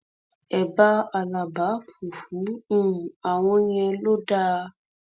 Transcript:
ẹbá alábà fùfù um àwọn ìyẹn ló dáa